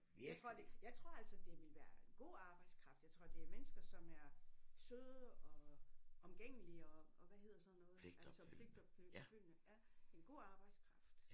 Jeg tror de jeg tror altså det ville være en god arbejdskraft jeg tror det er mennesker som er søde og omgængelige og og hvad hedder sådan noget altså pligtopfyldende ja en god arbejdskraft